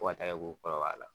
Fo ka taara kɛ k'o kɔrɔbaya la.